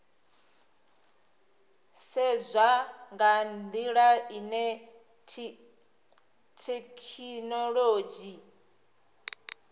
sedzwa nga ndila ine thekhinolodzhi